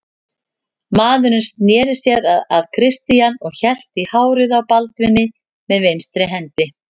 Maðurinn sneri sér að Christian og hélt í hárið á Baldvini með vinstri hendi.